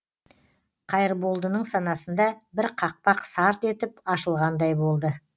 қайырболдының санасында бір қақпақ сарт етіп ашылғандай болды